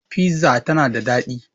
Fiza tana da daɗi